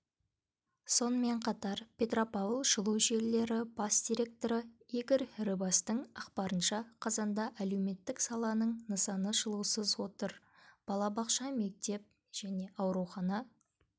сонымен қатар петропавл жылу желілері бас директоры игорь рыбастың ақпарынша қазанда әлеуметтік саланың нысаны жылусыз отыр балабақша мектеп және аурухана